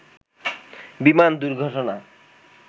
বিমান দুর্ঘটনা